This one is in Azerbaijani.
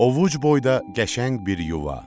Ovuc boyda qəşəng bir yuva.